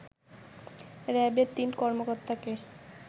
র‍্যাবের তিন কর্মকর্তাকে